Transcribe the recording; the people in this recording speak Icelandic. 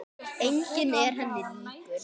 Enginn var henni líkur.